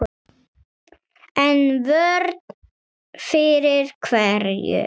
En vörn fyrir hverju?